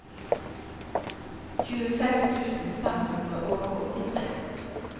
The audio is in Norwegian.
tjueseks tusen fem hundre og åttitre